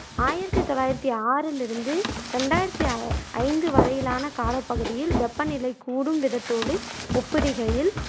ஆயிரத்தி தொள்ளாயிரத்தி ஆறில் இருந்து ரெண்டாயிரத்தி அ ஐந்து வரையிலான காலப்பகுதியில் வெப்பநிலை கூடும் விதத்தோடு ஒப்பிடுகையில்